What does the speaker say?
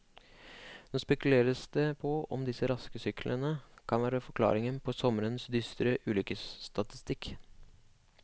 Nå spekuleres det på om disse raske syklene kan være forklaringen på sommerens dystre ulykkestatistikk.